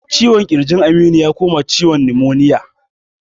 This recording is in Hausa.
Ciwon kirjin Aminu ya koma ciwon numoniya